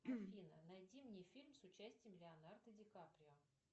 афина найди мне фильм с участием леонардо ди каприо